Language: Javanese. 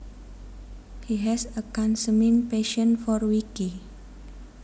He has a consuming passion for wiki